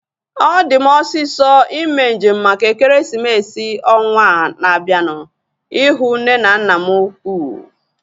Ọ di m osisọ ime njem maka ekeresimesi ọnwaa na-abianu ihu nne na nna m ukwuu